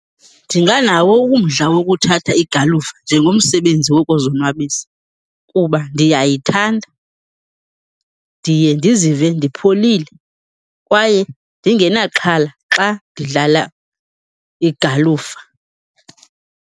Ndinganawo umdla wokuthatha igalufa njengomsebenzi wokuzonwabisa kuba ndiyayithanda. Ndiye ndizive ndipholile kwaye ndingenaxhala xa ndidlala igalufa.